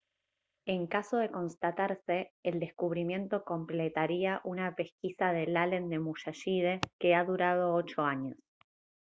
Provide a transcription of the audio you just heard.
en caso de constatarse el descubrimiento completaría una pesquisa del allen del musashide que ha durado ocho años